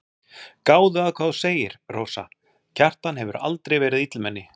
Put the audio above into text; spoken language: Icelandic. Gáðu að hvað þú segir, Rósa, Kjartan hefur aldrei verið illmenni.